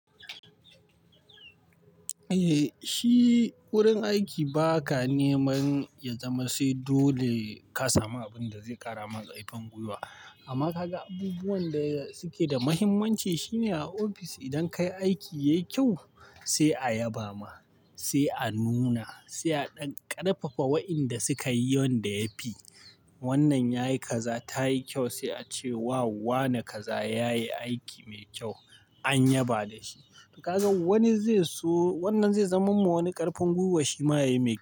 Eh, shi wurin aiki ba ka neman ya zama sai dole ka samu abinda zai ƙara maka ƙarfin gwiwa. Amma kaga abubuwan da suke da muhimmanci shine a ofis idan ka yi aiki yayi kyau sai a yaba ma, sai a nuna, sai a ɗan ƙarfafa wa'inda suka yi wanda yafi. Wannan yayi kaza ta yi kyau sai a ce wow wane kaza ya yi aiki mai kyau an yaba da shi. Duk da haka wani zai so wannan zai zama min wani ƙarfin gwiwa shi ma yayi mai kyau.